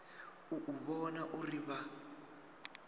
u u vhona uri vha